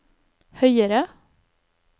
høyere